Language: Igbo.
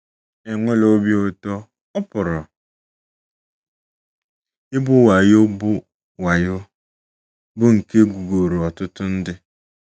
Enwela obi ụtọ— ọ pụrụ ịbụ wayo, bụ́ wayo, bụ́ nke e gwuworo ọtụtụ ndị.